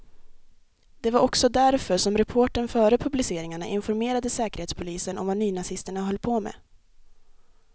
Det var också därför som reportern före publiceringarna informerade säkerhetspolisen om vad nynazisterna höll på med.